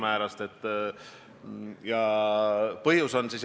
Vallavanema sõnul oli eile tunda just paanika ohtu.